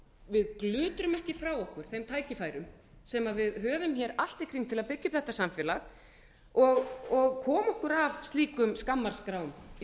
við glutrum ekki frá okkur þeim tækifærum sem við höfum hér allt í kring til að byggja upp þetta samfélag koma okkur af slíkum skammarskrám í